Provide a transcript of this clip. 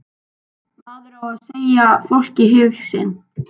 Maður á að segja fólki hug sinn.